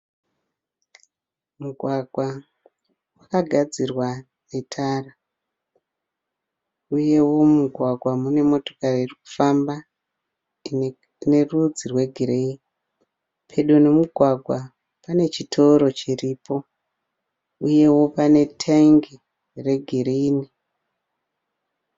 Mugwagwa wakagadzirwa netara uyewo mumugwagwa mune motokari irikufamba ine rudzi rwe gireyi. Pedo nemugwagwa pane chitoro chiripo uyewo pane tank re girini.